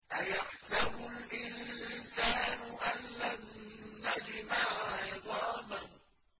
أَيَحْسَبُ الْإِنسَانُ أَلَّن نَّجْمَعَ عِظَامَهُ